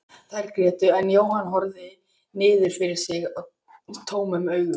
Þær grétu en Jóhann horfði niður fyrir sig tómum augum.